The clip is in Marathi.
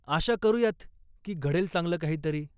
आशा करूयात की घडेल चांगलं काहीतरी.